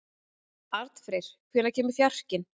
Arnfreyr, hvenær kemur fjarkinn?